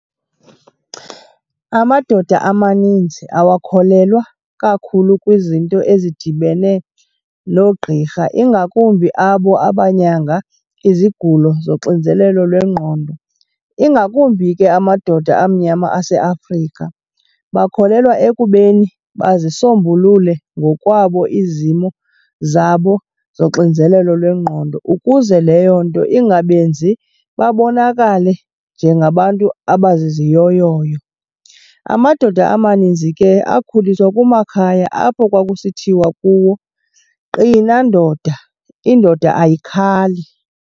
Amadoda amaninzi awakholelwa kakhulu kwizinto ezidibene noogqirha, ingakumbi abo abanyanga izigulo zoxinzelelo lwengqondo, ingakumbi ke amadoda amnyama aseAfrika. Bakholelwa ekubeni bazisombulule ngokwabo izimo zabo zoxinzelelo lwengqondo ukuze leyo nto ingabenzi babonakale njengabantu abaziziyoyoyo. Amadoda amaninzi ke akhuliswa kumakhaya apho kwakusithiwa kuwo, qina ndoda, indoda ayikhali.